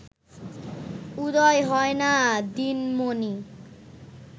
উদয় হয় না দিনমণি